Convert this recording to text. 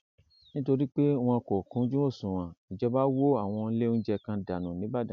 nítorí pé wọn kò kúnjú òṣùnwọn ìjọba wọ àwọn ilé oúnjẹ kan dànù nìbàdàn